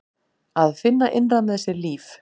Að finna innra með sér líf.